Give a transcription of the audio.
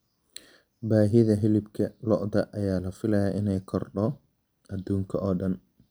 Baahida hilibka lo'da ayaa la filayaa inay kordho adduunka oo dhan.